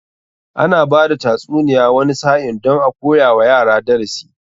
Ana bada tatsuniya wani sa'in don a koya wa yara darasi.